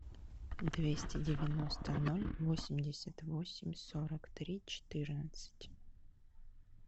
двести девяносто ноль восемьдесят восемь сорок три четырнадцать